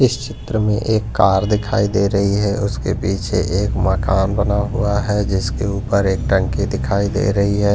इस चित्र में एक कार दिखाई दे रही है उसके पीछे एक मकान बना हुआ है जिसके ऊपर एक टंकी दिखाई दे रही है।